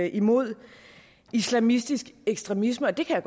imod islamistisk ekstremisme og det kan